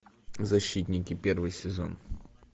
защитники первый сезон